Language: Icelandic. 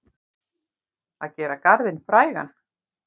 Að gera garðinn frægan